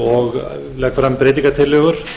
og legg fram breytingartillögur